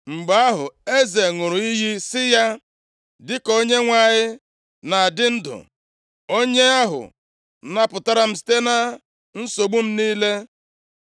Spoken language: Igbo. Mgbe ahụ, eze ṅụrụ iyi sị ya, “Dịka Onyenwe anyị na-adị ndụ, Onye ahụ napụtara m site na nsogbu m niile,